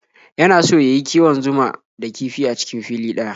Yana so ya yi kiwon zuma da kifi a cikin fili ɗaya.